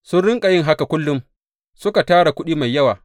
Sun riƙa yin haka kullum suka tara kuɗi mai yawa.